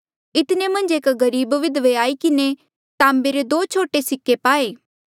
इतने मन्झ एक गरीब विधवे आई किन्हें ताम्बे रे दो छोटे सिक्के पाये